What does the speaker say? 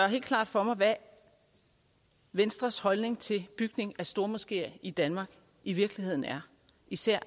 helt klart for mig hvad venstres holdning til bygning af stormoskeer i danmark i virkeligheden er især